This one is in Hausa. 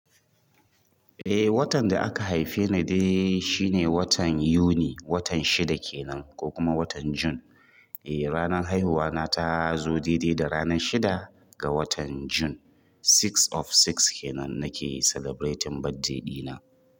Eh, watan da aka haife ni dai shine watan Yuni, watan shida kenan ko kuma watan Jun. Eh, ranar haihuwa na ta zo daidai da ranar shida ga watan June. Six of six kenan nake celebrating birthday ɗina.